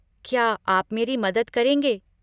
क्या आप मेरी मदद करेंगे?